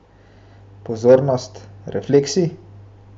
Pozornost, refleksi!